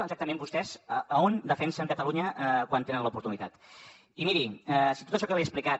exactament vostès on defensen catalunya quan en tenen l’oportunitat i miri si tot això que li he explicat